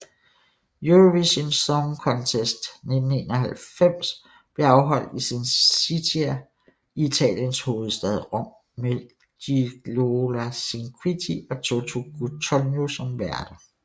Eurovision Song Contest 1991 blev afholdt i Cinecittà i Italiens hovedstad Rom med Gigliola Cinquetti og Toto Cutugno som værter